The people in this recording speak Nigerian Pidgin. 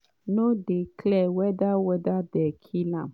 no dey clear whether whether dem kill am.